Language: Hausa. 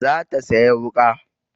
Za ta sayi wuƙa.